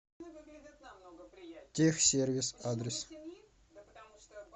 тех сервис адрес